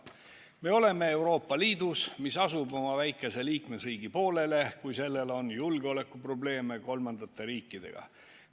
Me oleme Euroopa Liidus, mis asub oma väikese liikmesriigi poolele, kui sellel on julgeolekuprobleeme kolmandate riikidega.